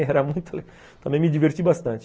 Era muito... Também me diverti bastante.